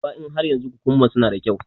Duba in har yanzu kukumban suna da kyau.